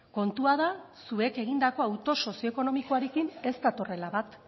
kontua da zuek egindako hautu sozioekonomikoarekin ez datorrela bat